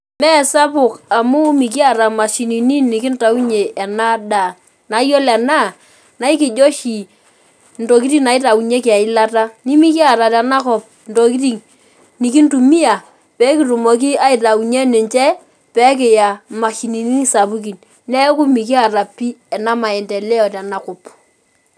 Mesapuk amu mikiata mashinini nikintaunye enadaa na iyilo ena naikijo oshi ntokitin naitaunyeki eilata nimikiata tenakop ntokitin nikintumia pekintaunye ninche pekiya mashinini sapukin neaku mekiata pii enamaendeleo tenakop